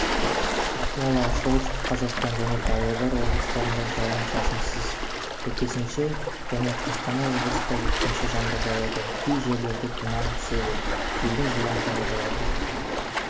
ақмола солтүстік қазақстан және павлодар облыстарында жауын-шашынсыз сәйкесінше және қостанай облысында өткінші жаңбыр жауады кей жерлерде тұман түседі желдің жылдамдығы болады